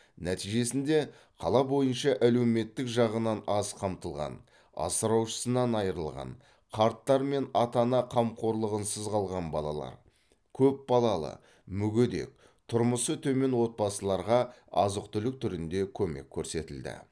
нәтижесінде қала бойынша әлеуметтік жағынан аз қамтылған асыраушысынан айрылған қарттар мен ата ана қамқорлығынсыз қалған балалар көп балалы мүгедек тұрмысы төмен отбасыларға азық түлік түрінде көмек көрсетілді